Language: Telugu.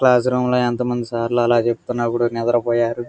క్లాస్ రూమ్ లో ఎంతమంది సార్లు అలా చెప్తున్నా కూడా నిద్రపోయారు.